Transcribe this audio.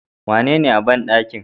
Wanene a banɗakin?